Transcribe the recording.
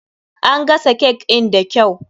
An gasa cake in da kyau.